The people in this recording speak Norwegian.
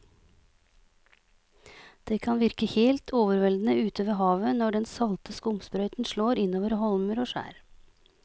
Det kan virke helt overveldende ute ved havet når den salte skumsprøyten slår innover holmer og skjær.